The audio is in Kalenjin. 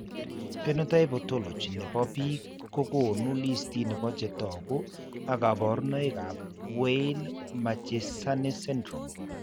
Phenotype ontology nebo biik kokoonu listitni bo chetogu ak kaborunoik ab Weill Marchesani syndrome